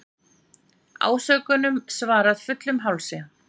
Ásökunum svarað fullum hálsi